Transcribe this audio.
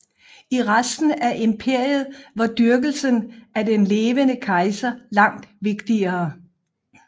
I resten af imperiet var dyrkelsen af den levende kejser langt vigtigere